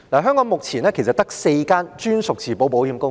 香港目前其實只有4間專屬自保保險公司。